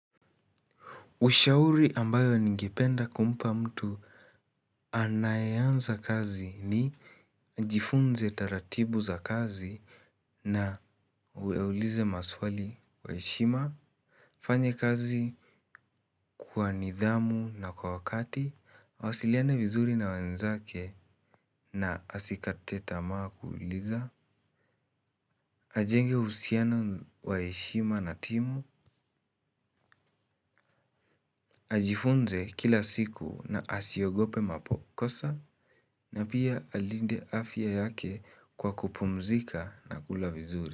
Ushauri ambayo ningependa kumpa mtu anayeanza kazi ni ajifunze taratibu za kazi na aulize maswali kwa heshima. Fanya kazi kwa nidhamu na kwa wakati awasiliane vizuri na wenzake na asikate tamaa kuuliza. Ajenge uhusiano wa heshima na timu. Ajifunze kila siku na asiogope makosa na pia alinde afya yake kwa kupumzika na kula vizuri.